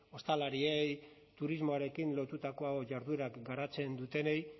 ostalariei turismoarekin lotutako jarduerak garatzen dutenei